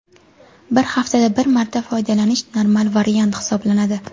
Bir haftada bir marta foydalanish normal variant hisoblanadi.